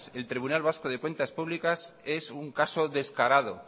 el tribunal vasco de cuentas públicas es un caso descarado